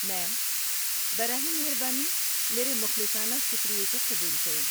میم، براہ مہربانی میرے مخلصانہ شکریے کو قبول کریں!